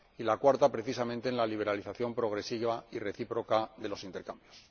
y la cuarta, precisamente, en la liberalización progresiva y recíproca de los intercambios.